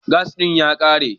Gas ɗin ya ƙare.